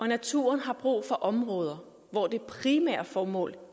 naturen har brug for områder hvor det primære formål